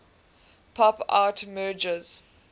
pop art merges